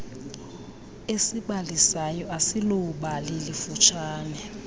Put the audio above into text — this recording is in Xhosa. esibalisayo asiloobali lifutshane